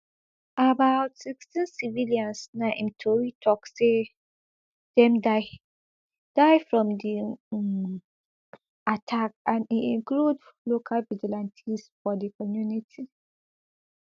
about sixteen civilians na im tori tok say dem die die from di um attack and e include local vigilantes for di community